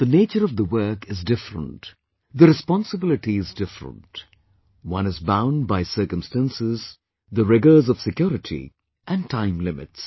The nature of the work is different, the responsibility is different, one is bound by circumstances, the rigours of security & time limits